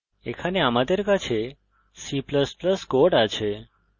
এখানে আমাদের কাছে c ++ কোড আছে